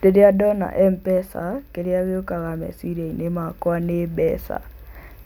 Rĩrĩa ndona M-PESA kĩrĩa gĩũkaga meciria-inĩ makwa nĩ mbeca.